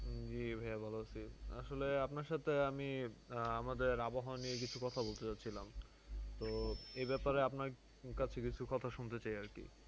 জী ভাইয়া ভালো আছি। আসলে আপনার সাথে আমি আহ আমাদের আবহাওয়া নিয়ে কিছু কথা বলতে চাচ্ছিলাম। তো এ ব্যাপারে আপনার কিছু কথা শুনতে চাই আরকি।